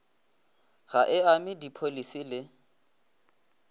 ga e ame dipholisi le